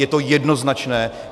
Je to jednoznačné!